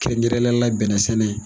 Kɛrɛnkɛrɛnnenya la bɛnɛ sɛnɛ.